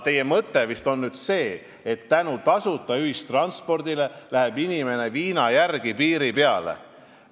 Teie mõte oli vist see, et tänu tasuta ühistranspordile läheb inimene viina järele piiri peale.